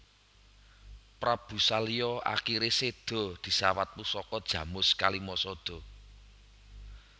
Prabu Salya akhire sedha disawat pusaka Jamus Kalimasada